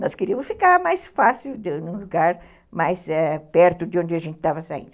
Nós queríamos ficar mais fácil, num lugar mais é, perto de onde a gente estava saindo.